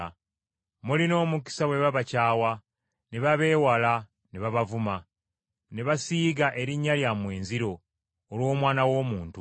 Mulina omukisa bwe babakyawa, ne babeewala, ne babavuma, ne basiiga erinnya lyammwe enziro, olw’Omwana w’Omuntu.”